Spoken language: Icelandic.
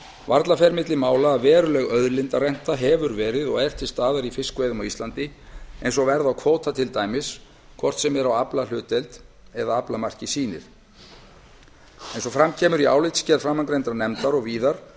varla fer á milli mála að veruleg auðlindarenta hefur verið og er til staðar í fiskveiðum á íslandi eins og verð á kvóta sýnir hvort sem er á aflahlutdeild eða aflamarki eins og fram kemur í álitsgerð framangreindrar nefndar og víðar